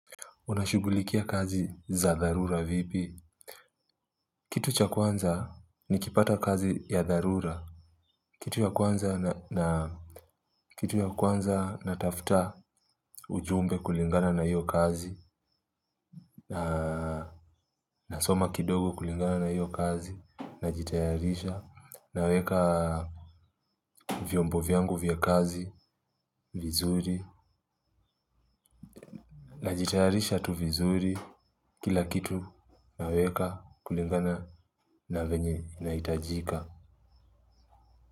Unashughulikia kazi za dharura vipi? Kitu cha kwanza nikipata kazi ya dharura. Kitu ya kwanza natafuta ujumbe kulingana na hiyo kazi. Nasoma kidogo kulingana na hiyo kazi. Najitayarisha naweka vyombo vyangu vya kazi vizuri. Najitayarisha tu vizuri kila kitu naweka kulingana na venye nahitajika.